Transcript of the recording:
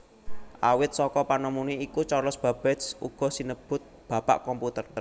Awit saka panemune iku Charles Babbage uga sinebut bapak komputer